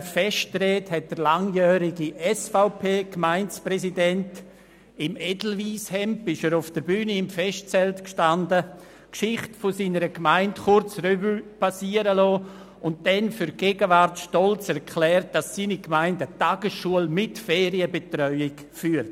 Während seiner Festrede hat der langjährige SVPGemeindepräsident, im Edelweisshemd auf der Bühne im Festzelt stehend, die Geschichte seiner Gemeinde kurz Revue passieren lassen und für die Gegenwart stolz erklärt, dass seine Gemeinde eine Tagesschule mit Ferienbetreuung führt.